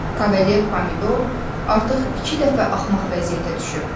Kavalier pomidor artıq iki dəfə axmaq vəziyyətə düşüb.